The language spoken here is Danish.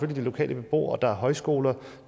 de lokale beboere det er højskoler